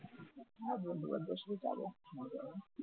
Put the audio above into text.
হ্যাঁ বন্ধুবান্ধবের সাথে যাব মজা না?